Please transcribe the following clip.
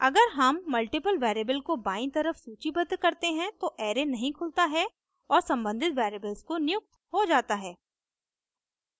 अगर हम multiple variables को बायीं तरफ सूचीबद्ध करते हैं तो array नहीं खुलता है और सम्बंधित वेरिएबल्स को नियुक्त हो जाता है